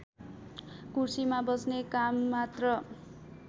कुर्सीमा बस्ने काममात्र